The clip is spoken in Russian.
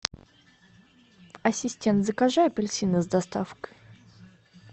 ассистент закажи апельсины с доставкой